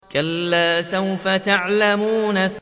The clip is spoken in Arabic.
كَلَّا سَوْفَ تَعْلَمُونَ